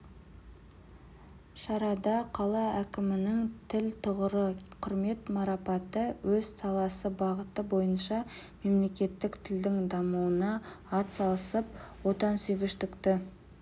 шарада қала әкімінің тіл тұғыры құрмет марапаты өз саласы бағыты бойынша мемлекеттік тілдің дамуына атсалысып отансүйгіштікті